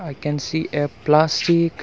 i can see a plastic--